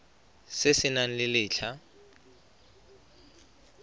se se nang le letlha